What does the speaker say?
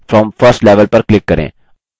आप क्या देखते हैं